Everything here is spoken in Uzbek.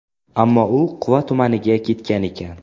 Ammo u Quva tumaniga ketgan ekan.